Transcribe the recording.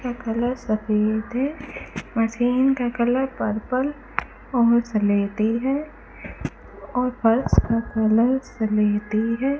यह कलर सफेद है मशीन का कलर पर्पल और सलेटी है और फर्श का कलर सलेटी है।